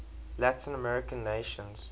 latin american nations